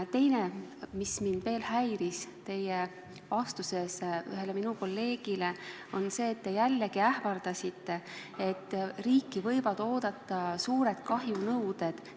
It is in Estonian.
Ja teine asi, mis mind veel häirib: vastuses ühele meie kolleegile te ähvardasite, et riiki võivad oodata suured kahjunõuded.